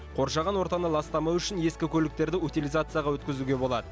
қоршаған ортаны ластамау үшін ескі көліктерді утилизацияға өткізуге болад